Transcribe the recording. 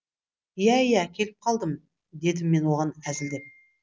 иә иә келіп қалдым дедім мен оған әзілдеп